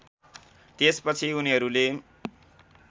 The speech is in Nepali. त्यसपछि उनीहरूले